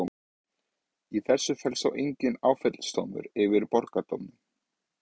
Í þessu felst þó enginn áfellisdómur yfir borgardómurum.